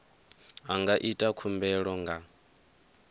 a nga ita khumbelo nga